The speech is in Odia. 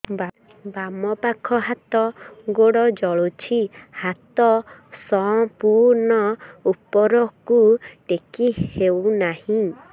ବାମପାଖ ହାତ ଗୋଡ଼ ଜଳୁଛି ହାତ ସଂପୂର୍ଣ୍ଣ ଉପରକୁ ଟେକି ହେଉନାହିଁ